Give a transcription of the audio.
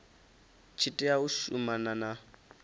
tshi tea u shumana na